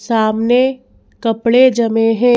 सामने कपड़े जमे हैं।